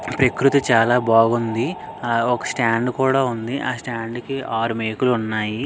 ఈ ప్రకృతి చాలా బాగుంది ఆ ఒక స్టాండ్ కుడా ఉంది ఆ స్టాండ్ కి ఆరు మేకులు ఉన్నాయి.